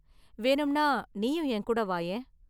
வேணும்னா நீயும் என் கூட வாயேன்.